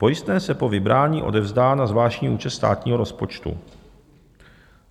Pojistné se po vybrání odevzdá na zvláštní účet státního rozpočtu.